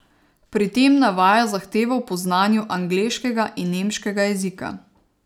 Pri tem navaja zahtevo po znanju angleškega in nemškega jezika.